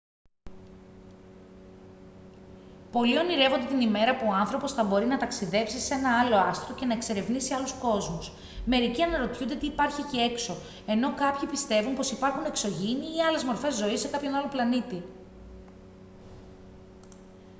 πολλοί ονειρεύονται την ημέρα που ο άνθρωπος θα μπορεί να ταξιδέψει σε ένα άλλο άστρο και να εξερευνήσει άλλους κόσμους μερικοί αναρωτιούνται τι υπάρχει εκεί έξω ενώ κάποιοι πιστεύουν πως υπάρχουν εξωγήινοι ή άλλες μορφές ζωής σε κάποιον άλλο πλανήτη